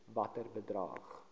watter bedrag